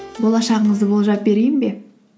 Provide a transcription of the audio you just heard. болашағыңызды болжап берейін бе